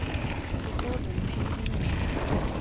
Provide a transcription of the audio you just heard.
sixoze mphini wumbi